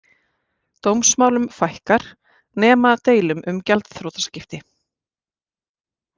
Dómsmálum fækkar nema deilum um gjaldþrotaskipti